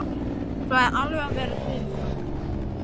Sagðist alveg vera til í það.